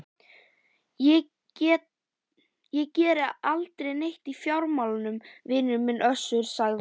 Ég geri aldrei neitt í fjármálum vinur minn Össur, sagði